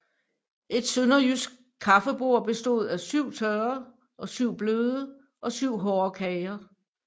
Et sønderjysk kaffebord bestod af syv tørre og syv bløde og syv hårde kager